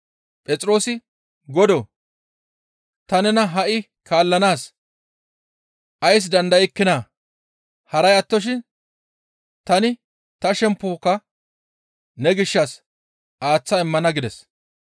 Phexroosi, «Godoo! Ta nena ha7i kaallanaas ays dandaykkinaa? Haray attoshin tani ta shemppoka ne gishshas aaththa immana» gides.